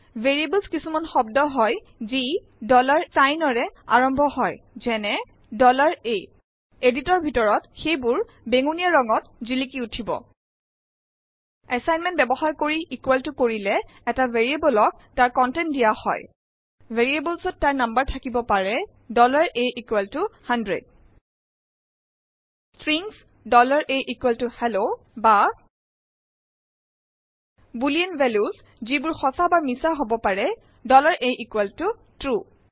variable কিছুমান শব্দ হয় যি চাইনৰে আৰম্ভ হয় যেনে a এডিটৰ ভিতৰত সেইেবাৰ বেঙুনীয়া ৰং ত জিলিক উঠিব এছাইনমেণ্ট বয়ৱহাৰ কৰি ইকোৱেল ত কৰিলে এটা ভেৰিয়েবলক তাৰ কনটেন্ট দিয়া হয় ভেৰিয়েবলত তাৰ নং থাকিব পাৰে a100 ষ্ট্ৰিংছ ahello বা বুলিন ভেলিউচ যিবোৰ সচা বা মিছা হব পাৰে atrue